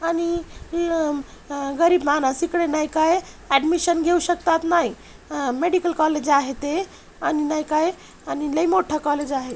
आणि गरीब मानस इकडे नाय काय एडमिशन घेऊ शकतात नाय मेडिकल कॉलेज आहे ते आणि नाय काय लय मोठं कॉलेज आहे.